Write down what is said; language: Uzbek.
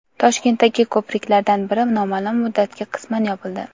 Toshkentdagi ko‘priklardan biri noma’lum muddatga qisman yopildi.